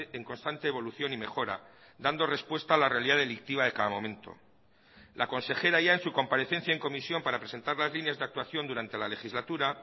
en constante evolución y mejora dando respuesta a la realidad delictiva de cada momento la consejera ya en su comparecencia en comisión para presentar las líneas de actuación durante la legislatura